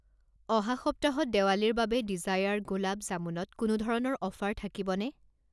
অহা সপ্তাহত দেৱালীৰ বাবে ডিজায়াৰ গোলাব জামুনত কোনো ধৰণৰ অফাৰ থাকিবনে?